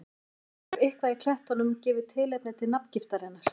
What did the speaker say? Ef til vill hefur eitthvað í klettunum gefið tilefni til nafngiftarinnar.